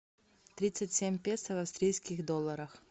тридцать семь песо в австрийских долларах